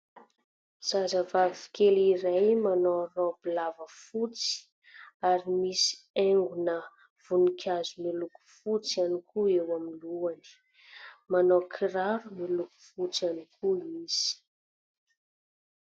Zazavavy kely iray manao raoby lava fotsy ary misy haingo voninkazo miloko fotsy ihany koa eo amin'ny lohany, manao kiraro miloko fotsy ihany koa izy.